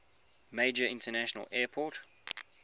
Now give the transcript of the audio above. major international airport